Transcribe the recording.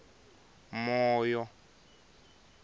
moyo